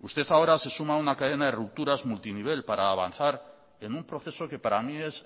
usted ahora se suma a una cadena de rupturas multinivel para avanzar en un proceso que para mí es